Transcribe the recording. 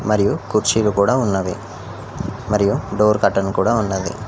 మరియు కుర్చీలు కూడా ఉన్నావి మరియు డోర్ కర్టైన్ కూడా ఉన్నాది.